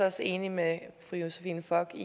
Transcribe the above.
også enig med fru josephine fock